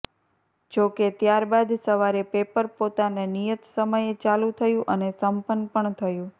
જો કે ત્યાર બાદ સવારે પેપર પોતાનાં નિયત સમયે ચાલુ થયું અને સંપન્ન પણ થયું